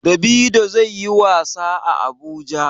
Davido zai yi wasa a Abuja.